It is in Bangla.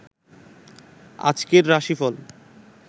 আজকের রাশিফল